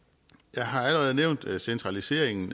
jeg har allerede nævnt centraliseringen